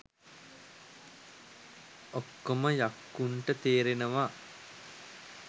'ඔක්කොම යක්කුන්ට' තේරෙනවා